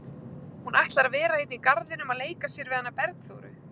Hún ætlar að vera hérna í garðinum að leika sér við hana Bergþóru.